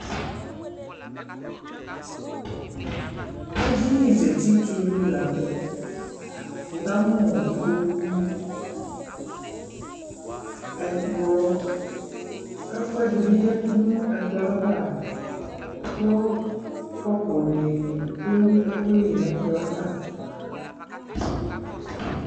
Ɛdini zati tu lu la ntɛwuka mu ikpoku, ɛkplɔ, ɛkuɛ di bi ya du nu ɛkplɔ avaKu kɔpu ni du ɛkuɛ li nɛ kplɔ ava